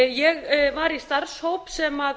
ég var í starfshóp sem